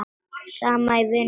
Saman í vinnu og utan.